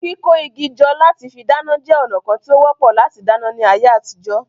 Kíkó igi jọ lati fí dáná jẹ́ ònà kán tí ó wọ́pọ̀ láti dáná ní àyè àtijọ́